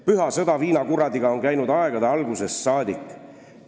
Püha sõda viinakuradiga on käinud aegade algusest saadik.